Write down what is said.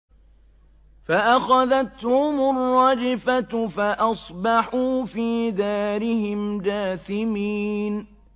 فَأَخَذَتْهُمُ الرَّجْفَةُ فَأَصْبَحُوا فِي دَارِهِمْ جَاثِمِينَ